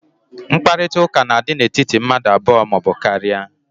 Mkparịta ụka na-adị n'etiti mmadụ abụọ ma ọ bụ karịa.